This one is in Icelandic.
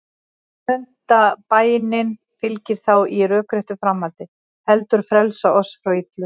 Sjöunda bænin fylgir þá í rökréttu framhaldi: Heldur frelsa oss frá illu.